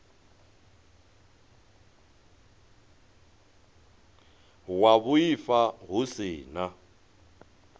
wa vhuaifa hu si na